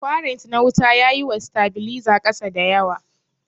kwarent na wuta yaƴi wa stabiliza kasa dayawa.